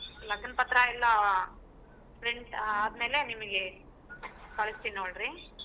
ಲಗನ್ ಪತ್ರ ಎಲ್ಲಾ print ಆದ್ಮೇಲೆ ನಿಮಗೆ ಕಳಸ್ತಿನಿ ನೋಡ್ರಿ.